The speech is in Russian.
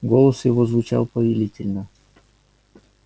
голос его звучал повелительно